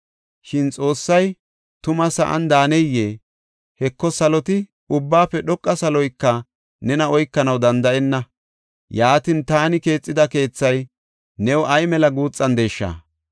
“Shin Xoossay tuma sa7an daaneyee? Heko, saloti, ubbaafe dhoqa saloyka nena oykanaw danda7enna. Yaatin, taani keexida keethay new ay mela guuxandesha!